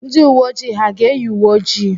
Ndị uwe ojii ha ga-eyi uwe ojii?